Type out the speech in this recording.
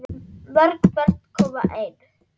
Mörg börn koma ein.